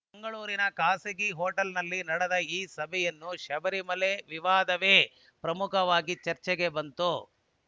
ಮಂಗಳೂರಿನ ಖಾಸಗಿ ಹೊಟೇಲ್‌ನಲ್ಲಿ ನಡೆದ ಈ ಸಭೆಯಲ್ಲೂ ಶಬರಿಮಲೆ ವಿವಾದವೇ ಪ್ರಮುಖವಾಗಿ ಚರ್ಚೆಗೆ ಬಂತು